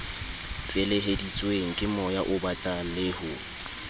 feleheditsweng kemoya obatang le ho